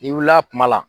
N'i wulila kuma la